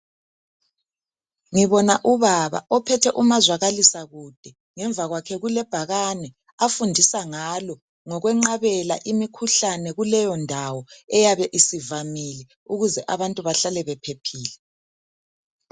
Ngibona ubaba ophethe umazwakalisa kube ngemva kwakhe kulebhakani afundisa ngalo ngokwenqabela imikhuhlane kuleyo ndawo eyabe isivamile ukuze abantu behlale bephephile